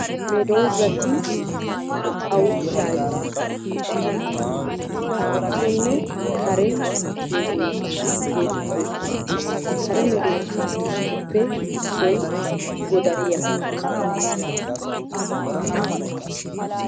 Medoosati naa"awu shaahettoosona. Sonne kare medoosata geetettoosona. Kare medoosatuppe issoy godariya.